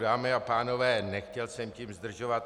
Dámy a pánové, nechtěl jsem tím zdržovat.